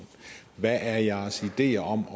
hvad er jeres ideer om